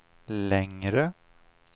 längre